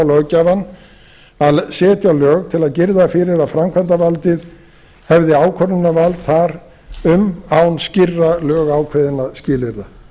löggjafann að setja lög til að girða fyrir að framkvæmdarvaldið hefði ákvörðunarvald þar um án skýrra lögákveðinna skilyrða